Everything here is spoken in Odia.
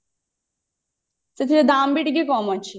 ସେଥିରେ ଦାମ ବି ଟିକେ କମ ଅଛି ଆଚ୍ଛା